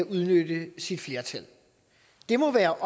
kan udnytte sit flertal det må være